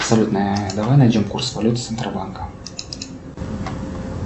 салют давай найдем курс валют центробанка